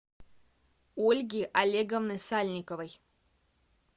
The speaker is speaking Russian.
ольги олеговны сальниковой